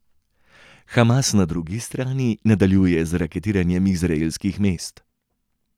Hamas, na drugi strani, nadaljuje z raketiranjem izraelskih mest.